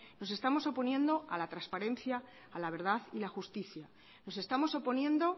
nos estamos oponiendo a la transparencia a la verdad y la justicia nos estamos oponiendo